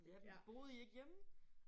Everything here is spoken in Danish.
Ja fordi boede I ikke hjemme?